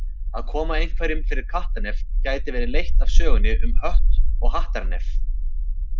Að koma einhverjum fyrir kattarnef gæti verið leitt af sögunni um Hött og Hattar nef.